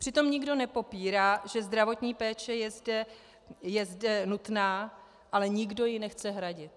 Přitom nikdo nepopírá, že zdravotní péče je zde nutná, ale nikdo ji nechce hradit.